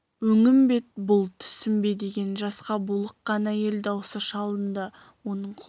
өңім бе бұл түсім бе деген жасқа булыққан әйел даусы шалынды оның құлағына